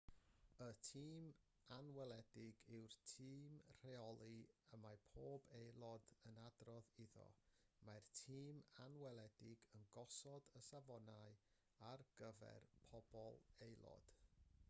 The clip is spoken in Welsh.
y tîm anweledig yw'r tîm rheoli y mae pob aelod yn adrodd iddo mae'r tîm anweledig yn gosod y safonau ar gyfer pob aelod